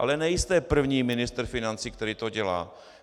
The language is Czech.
Ale nejste první ministr financí, který to dělá.